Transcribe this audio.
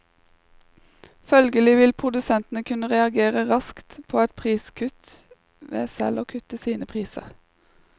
Følgelig vil produsentene kunne reagere raskt på et priskutt med selv å kutte sine priser.